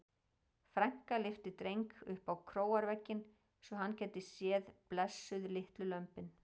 Frænka lyfti Dreng upp á króarvegginn svo hann gæti séð blessuð litlu lömbin.